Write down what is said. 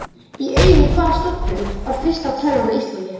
Í eigu hvaða stofnunar var fyrsta tölvan á Íslandi?